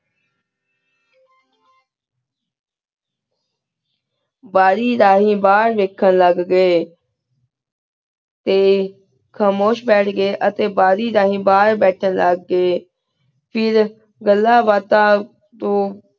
ਬਢ਼ੀ ਠਾਨੀ ਬਹੇਰ ਵੇਖਣ ਲਘ ਪੀ ਟੀ ਖਾਮੁਸ਼ ਭਠ ਗੀ ਅਤੀ ਬਢ਼ੀ ਠਾਨੀ ਬਹੇਰ ਵੇਖਣ ਲਘ ਗੀ ਫੇਰ ਘਾਲਾਂ ਬਾਤਾਂ ਤੂੰ